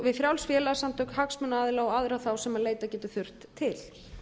við frjáls félagasamtök hagsmunaaðila og aðra þá sem leita getur þurft til